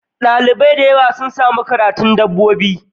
Dalibai dayawa sun Sami karanun dabbobi